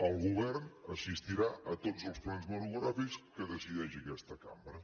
el govern assistirà a tots els plens monogràfics que decideixi aquesta cambra